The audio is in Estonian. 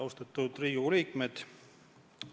Austatud Riigikogu liikmed!